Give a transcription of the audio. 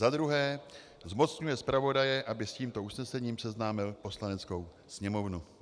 za druhé zmocňuje zpravodaje, aby s tímto usnesením seznámil Poslaneckou sněmovnu.